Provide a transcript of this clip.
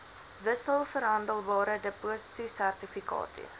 wissels verhandelbare depositosertifikate